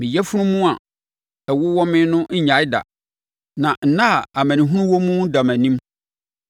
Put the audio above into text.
Meyafunu mu a ɛwowɔ me no nnyae da; na nna a amanehunu wɔ mu da mʼanim.